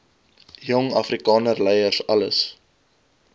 jong afrikanerleiers alles